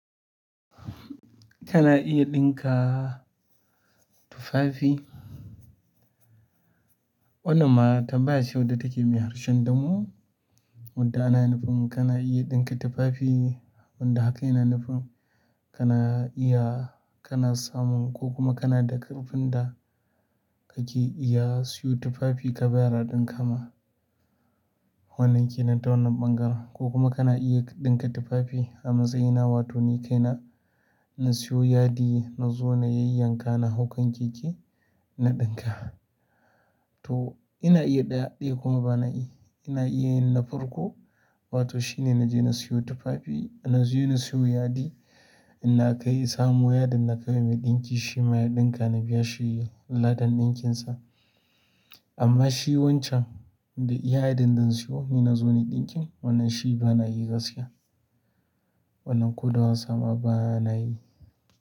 Kana iya ɗinka tufafi. Wannan ma tambaya ce wacce take da harshen damo wanda yana nufin kana iya ɗinka tufafi wanda haka yana nufin kana iya kana samun kokuma kana da ƙarfin da kake iya ka siyo tufafi ka bayar a ɗinka ma wannan kenan ta wannan ɓangaren. Ko kuma kana iya ɗinka tufafi a matsayina, wato ni kai na, na siyo yadi na zo na yayyanka na hau kan keke na ɗinka. To ina iya ɗaya ɗaya kuma ba na yi. Ina iya yin na farko, wato shi ne na je na siyo tufafi, na je na siyo yadi, ina kai samu yadin na kai mai ɗinki shi ma ya ɗinka na biya shi lada ɗinkinsa. Amma shi wancan da iya yaɗin da na siyo ni na zo na ɗinkin wannan shi ba na yi gaskiya. Wannan ko da wansa ma ba na yi.